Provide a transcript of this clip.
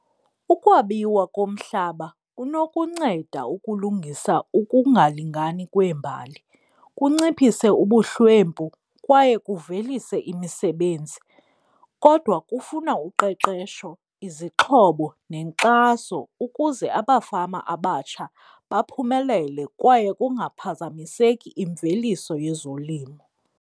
Ukwabiwa komhlaba kunokunceda ukulungisa ukungalingani kweembali. Kunciphise ubuhlwempu kwaye kuvelise imisebenzi, kodwa kufuna uqeqesho, izixhobo, nenkxaso ukuze abafama abatsha baphumelele kwaye kungaphazamiseki imveliso yezolimo.